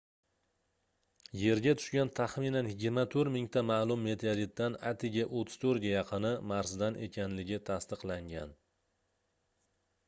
yerga tushgan taxminan 24 000 ta maʼlum meteoritdan atigi 34 ga yaqini marsdan ekanligi tasdiqlangan